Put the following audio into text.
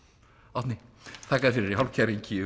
Árni þakka þér fyrir í hálfkæringi